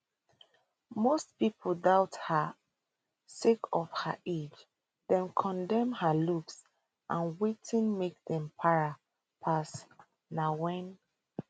most pipo doubt her sake of her age dem condemn her looks and wetin make dem para pass na wen